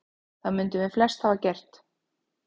Það mundum við flest hafa gert.